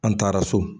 An taara so